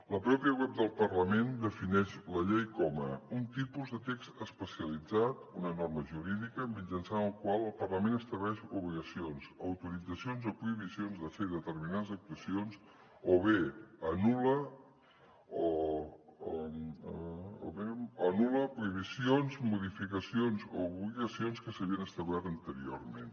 la pròpia web del parlament defineix la llei com un tipus de text especialitzat una norma jurídica mitjançant la qual el parlament estableix obligacions autoritzacions o prohibicions de fer determinades actuacions o bé anul·la prohibicions modificacions o obligacions que s’havien establert anteriorment